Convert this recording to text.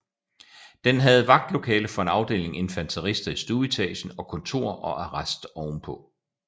Den havde vagtlokale for en afdeling infanterister i stueetagen og kontor og arrest ovenpå